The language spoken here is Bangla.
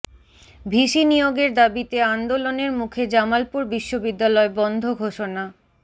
ভিসি নিয়োগের দাবিতে আন্দোলনের মুখে জামালপুর বিশ্ববিদ্যালয় বন্ধ ঘোষণা